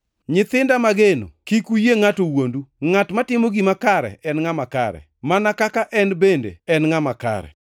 Nyithinda mageno, kik uyie ngʼato wuondu. Ngʼat matimo gima kare en ngʼama kare, mana kaka en bende en ngʼama kare.